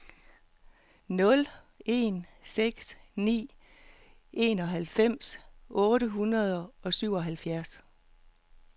nul en seks ni enoghalvfems otte hundrede og syvoghalvfjerds